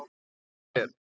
Flýttu þér!